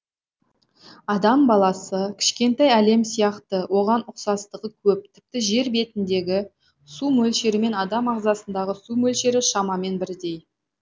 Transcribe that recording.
адам баласы кішкентай әлем сияқты оған ұқсастығы көп тіпті жер бетіндегі су мөлшерімен адам ағзасындағы су мөлшері шамамен бірдей